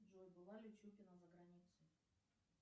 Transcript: джой была ли чупина за границей